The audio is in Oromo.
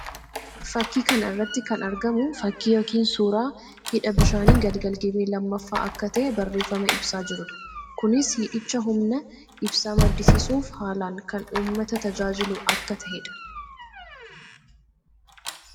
Fakkii kana irratti kan argamu fakkii yookiin suuraa hidha bishaanii Galgal Gibee 2ffaa akka tahee barreeffama ibsaa jiruu dha. Kunis hidhichi humna ibsaa maddisiisuuf haalaan kan uummata tajaajilu akka taheedha.